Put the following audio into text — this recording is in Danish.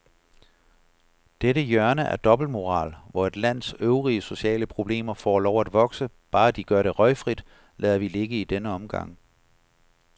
Dette hjørne af dobbeltmoral, hvor et lands øvrige sociale problemer får lov at vokse, bare de gør det røgfrit, lader vi ligge i denne omgang.